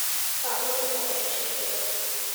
павлом николаевичем жировым